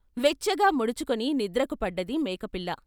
వెచ్చగా ముడుచుకుని నిద్రకు పడ్డది మేకపిల్ల.